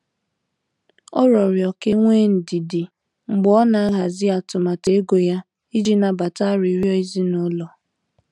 Ọ riọrọ ka enwee ndidi mgbe ọ na-ahazi atụmatụ ego ya iji nabata arịriọ ezinụlọ.